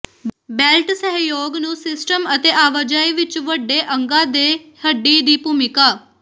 belt ਸਹਿਯੋਗ ਨੂੰ system ਅਤੇ ਆਵਾਜਾਈ ਵਿੱਚ ਵੱਡੇ ਅੰਗਾ ਦੇ ਹੱਡੀ ਦੀ ਭੂਮਿਕਾ